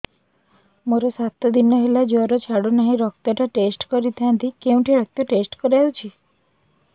ମୋରୋ ସାତ ଦିନ ହେଲା ଜ୍ଵର ଛାଡୁନାହିଁ ରକ୍ତ ଟା ଟେଷ୍ଟ କରିଥାନ୍ତି କେଉଁଠି ରକ୍ତ ଟେଷ୍ଟ କରା ଯାଉଛି